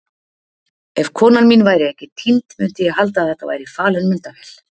Ef konan mín væri ekki týnd myndi ég halda að þetta væri falin myndavél.